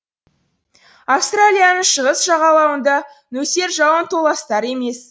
австралияның шығыс жағалауында нөсер жауын толастар емес